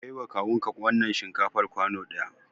Kai wa kawun ka wannan shinkafar kwano ɗaya!